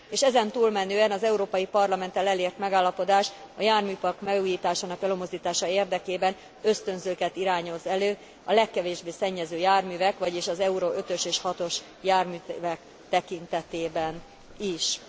És ezen túlmenően az Európai Parlamenttel elért megállapodás a járműpark megújításának előmozdítása érdekében ösztönzőket irányoz elő a legkevésbé szennyező járművek, vagyis az Euro 5 ös és 6 os járművek tekintetében is.